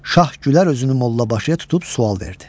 Şah gülər özünü mollabaşıya tutub sual verdi.